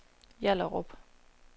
Hjallerup